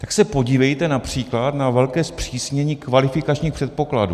Tak se podívejte například na velké zpřísnění kvalifikačních předpokladů.